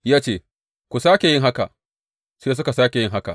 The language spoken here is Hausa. Ya ce, Ku sāke yin haka, sai suka sāke yin haka.